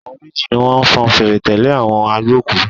Àwọn méjì ni wọ́n fọn fèrè tẹ̀lé àwọn agbókùú.